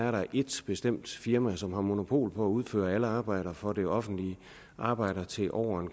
er ét bestemt firma som har monopol på at udføre alle arbejder for det offentlige arbejder til over